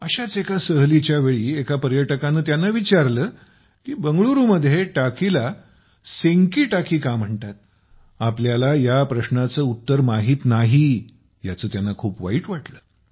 अशाच एका सहलीच्या वेळी एका पर्यटकाने त्यांना विचारले की बंगळुरूमध्ये टाकीला सेनकी टाकी का म्हणतात आपल्याला ह्याप्रश्नाचे उत्तर माहित नाही याचं त्यांना खूप वाईट वाटलं